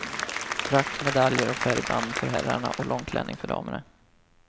Frack, medaljer och färgband för herrarna och långklänning för damerna.